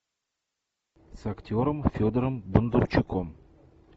с актером федором бондарчуком